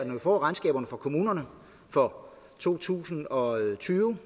vi får regnskaberne og kommunerne for to tusind og tyve